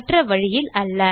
மற்ற வழியில் அல்ல